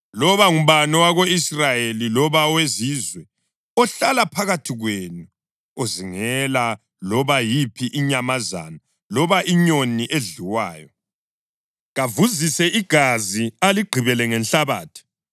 Loba ngubani owako-Israyeli loba owezizwe ohlala phakathi kwenu ozingela loba yiphi inyamazana loba inyoni edliwayo, kavuzise igazi aligqibele ngenhlabathi,